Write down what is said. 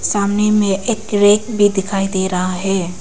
सामने में एक रैक भी दिखाई दे रहा है।